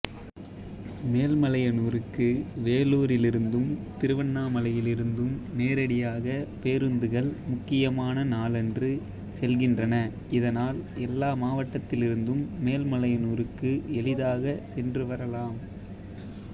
மேல்மலையனூருக்கு வேலூரிலிருந்தும் திருவண்ணாமலையிலிருந்தும் நேரடியாக பேருந்துகள் முக்கியமான நாளன்று செல்கின்றன இதனால் எல்லா மாவட்டத்திலிருந்தும் மேல்மலையனூருக்கு எளிதாக சென்று வரலாம்